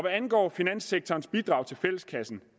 angår finanssektorens bidrag til fælleskassen